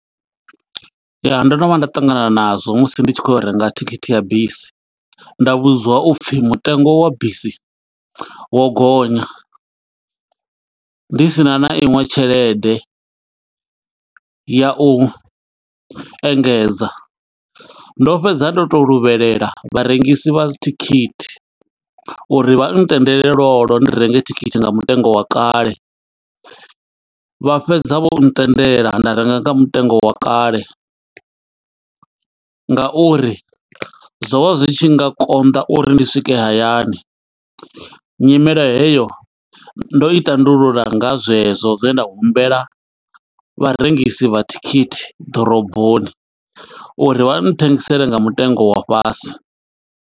Ya, ndo no vhuya nda ṱangana na zwo musi ndi tshi khou yo renga thikhithi ya bisi. Nda vhudzwa upfi mutengo wa bisi, wo gonya. Ndi sina na iṅwe tshelede ya u engedza, ndo fhedza ndo to luvhelela vharengisi vha thikhithi, uri vha ntendela lwo lwo ndi renge thikhithi nga mutengo wa kale. Vha fhedza vho ntendela, nda renga nga mutengo wa kale, nga uri zwo vha zwi tshi nga konḓa uri ndi swike hayani. Nyimele heyo, ndo i tandulula nga zwe zwo zwe nda humbela vharengisi vha thikhithi ḓoroboni, uri vha thengisele nga mutengo wa fhasi.